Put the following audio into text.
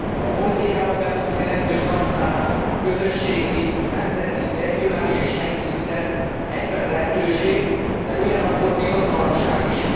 A politikába bevont szereplők nagy száma, közösségi, nemzeti, regionális és helyi szinten egyben lehetőség, de ugyanakkor bizonytalanság is.